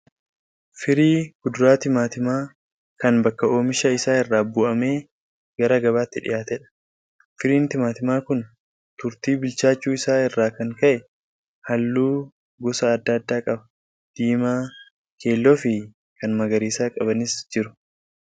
Firii kuduraa timaantima kan bakka oomisha isaa irraa bu'amee gara gabaatti dhiyaateedha. Firiin timaantimaa kun turtii bilchaachuu isaa irraa kan ka'e halluu gosa adda addaa qaba : diimaa, keelloo fi kan magariisa qabanis jiru.